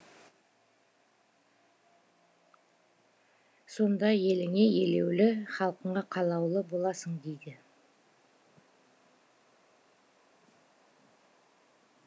сонда еліңе елеулі халқыңа қалаулы боласың дейді